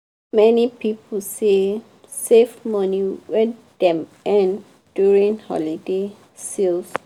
many people say save money wey dem earn during holiday sales